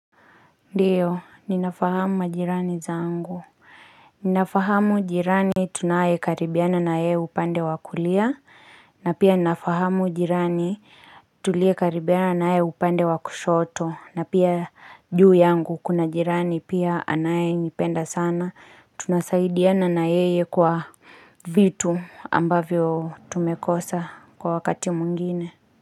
Ndiyo ninafahamu majirani zangu Ninafahamu jirani tunaye karibiana na yeye upande wa kulia na pia ninafahamu jirani tulie karibiana na ye upande wa kushoto na pia juu yangu kuna jirani pia anaye nipenda sana tunasaidiana na yeye kwa vitu ambavyo tumekosa kwa wakati mwingine.